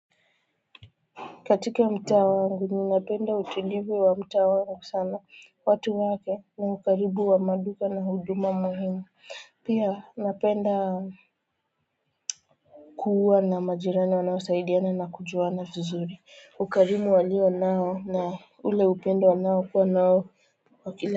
Katika mtaa wangu ninapenda utulivu wa mta wangu sana watu wake na ukaribu wa maduka na huduma muhimu pia napenda kuwa na majirani wanaosaidiana na kujuana fizuri ukarimu walio nao na ule upendo wanao kuwa nao kwa kila.